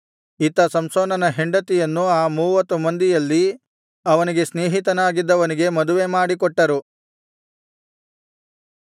ಇತ್ತ ಸಂಸೋನನ ಹೆಂಡತಿಯನ್ನು ಆ ಮೂವತ್ತು ಮಂದಿಯಲ್ಲಿ ಅವನಿಗೆ ಸ್ನೇಹಿತನಾಗಿದ್ದವನಿಗೆ ಮದುವೆಮಾಡಿಕೊಟ್ಟರು